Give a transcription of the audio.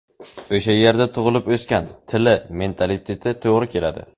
O‘sha yerda tug‘ilib o‘sgan, tili, mentaliteti to‘g‘ri keladi.